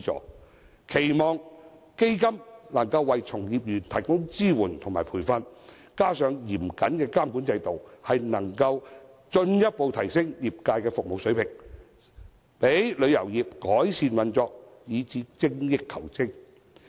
我期望基金可為從業員提供支援和培訓，加上嚴謹的監管制度，能夠進一步提升業界的服務水平，讓旅遊業改善運作，以達致精益求精。